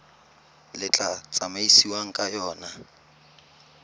le tla tsamaisiwang ka yona